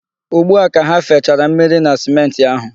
Ugbua ka ha fechara mmiri na simenti ahụ.